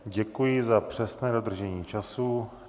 Děkuji za přesné dodržení času.